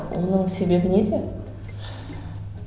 оның себебі неде